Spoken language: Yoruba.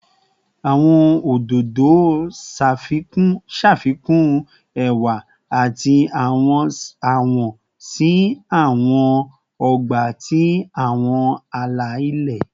Awọn ododo ṣafikun ẹwa ati awọ si awọn ọgba ati awọn ala-ilẹ